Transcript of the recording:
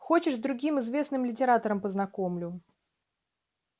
хочешь с другим известным литератором познакомлю